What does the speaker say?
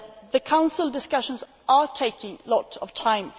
The Council discussions are taking a lot of time.